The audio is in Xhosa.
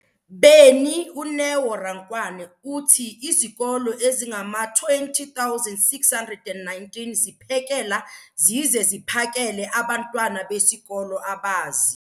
beni, uNeo Rankwane, uthi izikolo ezingama-20 619 ziphekela zize ziphakele abantwana besikolo abazi-